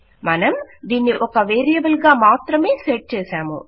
మనం దీనిని ఒక వేరియబుల్ గా మాత్రమే సెట్ చేసాము